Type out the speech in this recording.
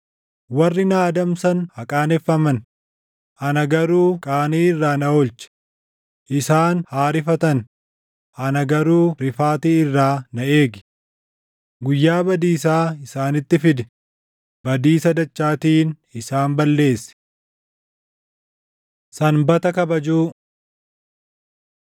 Warri na adamsan haa qaaneffaman; ana garuu qaanii irraa na oolchi; isaan haa rifatan; ana garuu rifaatii irraa na eegi. Guyyaa badiisaa isaanitti fidi; badiisa dachaatiin isaan balleessi. Sanbata Kabajuu